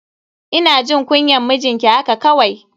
Ina jin kunyan mijinki haka kawai.